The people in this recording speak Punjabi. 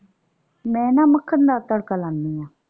ਮੈਂ ਨਾ ਮੱਖਣ ਦਾ ਤੜਕਾ ਲਾਂਨੀ ਆ।